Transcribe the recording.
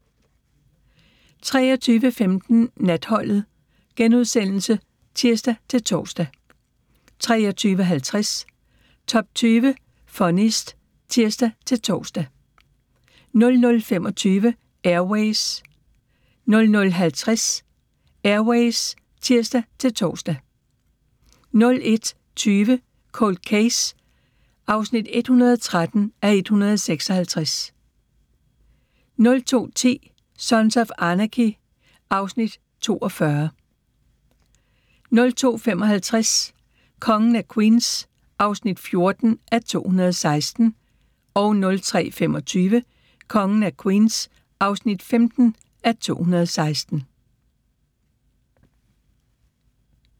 23:15: Natholdet *(tir-tor) 23:50: Top 20 Funniest (tir-tor) 00:25: Air Ways 00:50: Air Ways (tir-tor) 01:20: Cold Case (113:156) 02:10: Sons of Anarchy (Afs. 42) 02:55: Kongen af Queens (14:216) 03:25: Kongen af Queens (15:216)